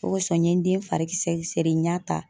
O kosɔn n ye n den fari kisɛ seri n y'a ta